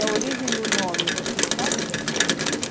E a origem do nome, você sabe da sua família?